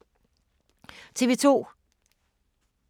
TV 2